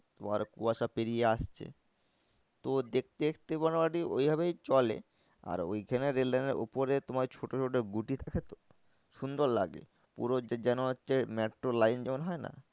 তোমার কুয়াশা পেরিয়ে আসছে। তো দেখতে দেখতে মোটামুটি ওই ভাবেই চলে আর ওইখানে rail line এর উপরে তোমার ছোটো ছোটো গুটি থাকে তো সুন্দর লাগে। পুরো যেন হচ্ছে মেট্রো line যেমন হয় না